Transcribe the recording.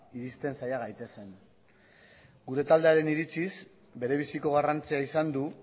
iristen saia gaitezen gure taldearen iritziz bere biziko garrantzia izan du